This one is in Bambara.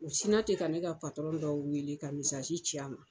U sinna ten ka ne ka dɔ weele ka misazi ci a ma.